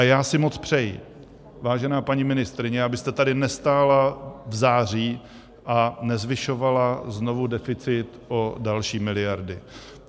A já si moc přeji, vážená paní ministryně, abyste tady nestála v září a nezvyšovala znovu deficit o další miliardy.